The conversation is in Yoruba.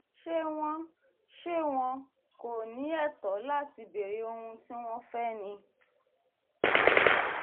ṣé wọn ṣé wọn kò ní ẹ̀tọ́ láti béèrè ohun tí wọ́n fẹ́ ni